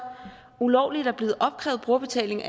ulovligt er blevet afkrævet brugerbetaling